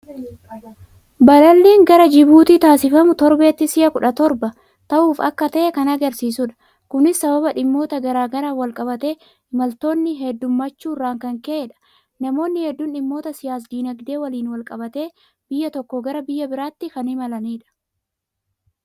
Balalliin gara Jibuutiitti taasifamu torbeetti si'a kudha toorba ta'uuf akka ta'e kan argisiisudha. Kunis sababa dhimmoota garaa garaan walqabatee imaltoonni heddummaachuu irraan kan ka'edha. Namoonni hedduun dhimmoota siyaas-dinagdee waliin walqabatee biyya tokkoo gara biyya biraatti kan imalanidha.